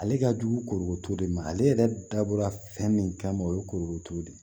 Ale ka jugu koro t'o de ma ale yɛrɛ dabɔra fɛn min kama o ye korotu de ye